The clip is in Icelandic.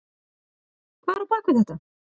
Hvað er á bak við þetta?